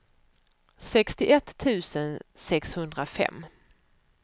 sextioett tusen sexhundrafem